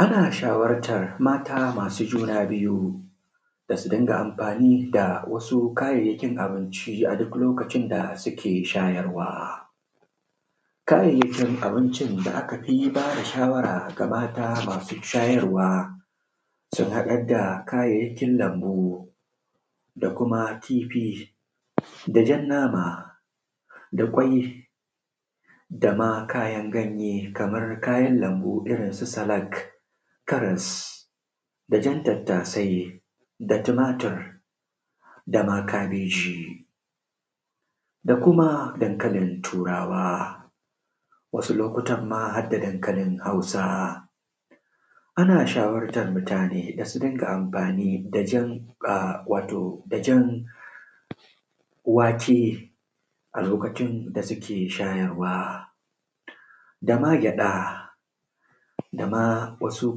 ana shawartar mata masu juna biyu da su dinga amfani da wasu kayayyakin abinci a duk lokacin da suke shayarwa xxx kayayyakin da aka fi ba da shawara ga mata masu shayarwa sun haɗar da kayayyakin lambu da kuma kifi da jan nama da ƙwai da ma kayan ganye kamar kayan lambu irin su salak karas da jan tattasai da tumatur da ma kabeji da kuma dankalin turawa wasu lokutan ma har da dankalin hausa ana shawartar mutane da su dinga amfani da jan wato da jan wake a lokacin da suke shayarwa da ma gyaɗa da ma wasu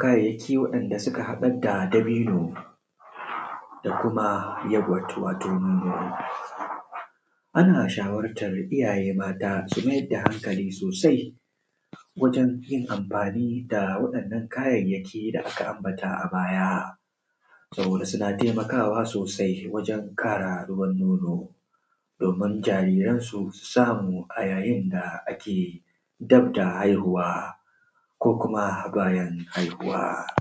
kayayyaki waɗanda suka haɗar da dabino da kuma yoghurt wato ana shawartar mata da su mayar da hankali sosai wajen yin amfani da waɗannan kayayyaki da aka ambata a baya saboda suna taimakawa sosai wajen ƙara ruwan nono domin jariransu su samu a yayin da ake dab da haihuwa ko kuma bayan haihuwa